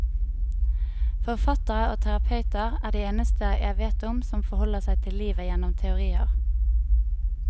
Forfattere og terapeuter er de eneste jeg vet om som forholder seg til livet gjennom teorier.